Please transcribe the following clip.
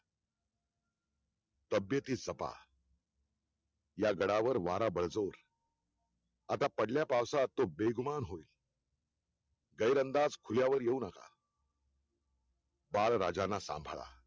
तबेतीत जपा या गडावर वारा बळजोर आता पडल्या पावसात तो बेगमान होईल गैर अंदाज खुल्या वर येऊ नका बाळ राजांना सांभाळा